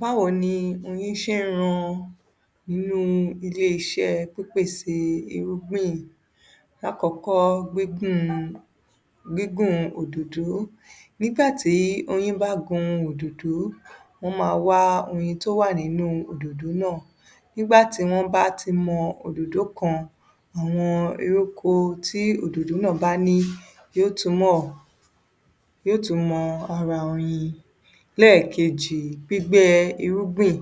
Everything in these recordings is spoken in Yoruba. Báwo ni oyin ṣe ń ran inú ilé iṣẹ́ pípèsè irúgbìn? Lákọ̀ọ́kọ́, gbígùn, gígùn òdòdó. Nígbà tí oyin bá gun òdòdó, wọ́n máa wá oyin tó wà nínú òdòdó náà. Nígbà tí wọ́n bá ti mọ òdòdó kan, àwọn ewéko tí òdòdó náà bá ní yóò túnbọ̀, yóò tún mọ ara oyin. Lẹ́ẹ̀kejì, gbígbẹ irúgbìn.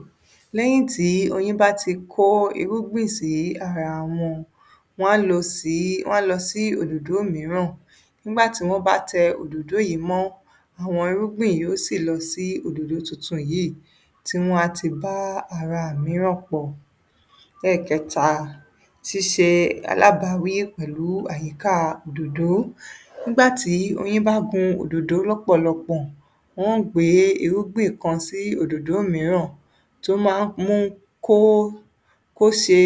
Lẹ́yìn tí oyin bá ti kó irúgbìn sí ara wọn, wọ́n á lò sí, wọ́n á lọ sí òdòdó mìíràn. Nígbà tí wọ́n bá tẹ yìí mọ́, àwọn irúgbìn yóò sì lọ sí òdòdó tuntun yìí, tí wọ́n á ti bá ara mìíràn pọ̀. Lẹ́ẹ̀kẹta, ṣíṣe alábàáwí pẹ̀lú àyìká òdòdó. Nígbà tí oyin bá gun òdòdó lọ́pọ̀lọpọ̀, wọ́n ó gbé irúgbìn kan sí òdòdó mìíràn tó máa ń mú kó, kó ṣe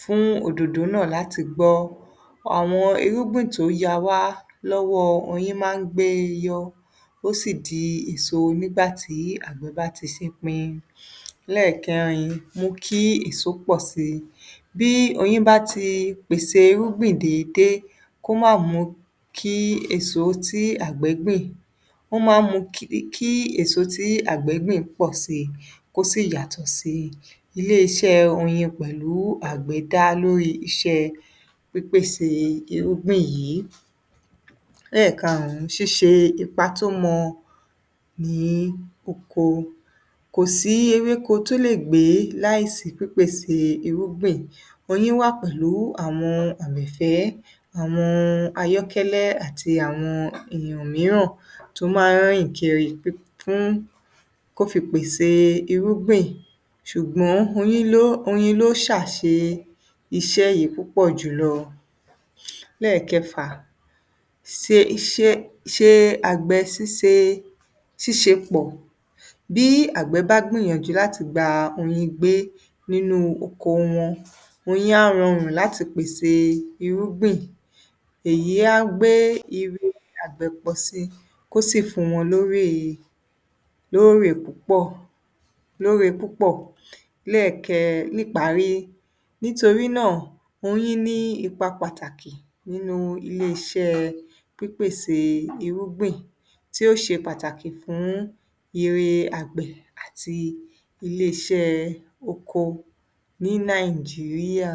fún òdòdó náà láti gbọ́. Àwọn irúgbìn tó ya wá lọ́wọ́ oyin máa ń gbé e yọ, ó sì di èso nígbà tí àgbẹ̀ bá ti ṣepin. Lẹ́ẹ̀kẹrin, mú kí èso pọ̀ síi. Bí oyin bá ti pèsè irúgbìn déédé, kó má mú kí èso tí àgbẹ̀ gbìn, ó máa ń kí èso tí àgbẹ̀ gbìn pọ̀ síi, kó sì yàtọ̀ síi. Ilé-iṣẹ́ oyin pẹ̀lú àgbẹ̀ dá lórí iṣẹ́ pípèsè irúgbìn yìí. Lẹ́ẹ̀karùn-ún, ṣíṣe ipa tó mọ ní oko. Kò sí ewéko tó lè gbé láà sí pípèsè irúgbìn. Oyin wà pẹ̀lú àwọn àrẹ̀fẹ́, àwọn ayọ́kẹ́lẹ́ àti àwọn ènìyàn mìíràn tó máa ń rìn kiri, kó fi pèsè irúgbìn, ṣùgbọ́n oyin ló ṣàṣe iṣẹ́ yìí púpọ̀ jùlọ. Lẹ́ẹ̀kẹfà, se, ṣe, ṣe àgbẹ̀ síse, ṣíṣe pọ̀. Bí àgbẹ̀ bá gbìyànjú láti gba oyin gbé nínú oko wọn, oyin á rọrùn láti pèsè irúgbìn. Èyí á gbé ire àgbẹ̀ pọ̀ síi, kó sì fún wọn lórè, lórè púpọ̀, lóre púpọ̀. Lẹ́ẹ̀kẹ, níparí, nítorí náà, oyin ní ipa pàtàkì nínú iṣẹ́ ilé-iṣẹ́ pípèsè irúgbìn tí ó ṣe pàtàkì fún ire àgbẹ̀ àti ilé-iṣẹ́ oko ní Nàìjíríà.